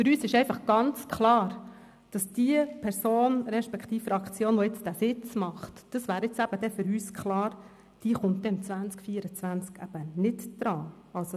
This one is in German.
Für uns ist ganz klar, dass diese Person respektive Fraktion, die jetzt diesen Sitz holen wird, dann 2024 eben nicht drankommt.